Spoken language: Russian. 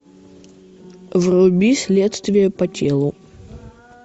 вруби следствие по телу